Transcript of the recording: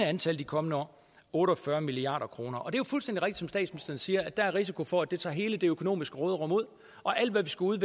antal de kommende år otte og fyrre milliard kroner det er jo fuldstændig rigtigt som statsministeren siger at der er risiko for at det tager hele det økonomiske råderum ud og alt hvad vi skulle